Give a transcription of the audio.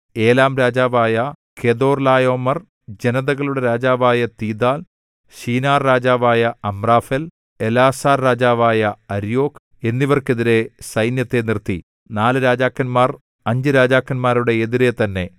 ഏലാംരാജാവായ Chedorlaomer ജനതകളുടെ രാജാവായ Tidal ശിനാർരാജാവായ അമ്രാഫെൽ എലാസാർരാജാവായ അര്യോക്ക് എന്നിവർക്കെതിരെ സൈന്യത്തെ നിർത്തി നാല് രാജാക്കന്മാർ അഞ്ച് രാജാക്കന്മാരുടെ എതിരെ തന്നെ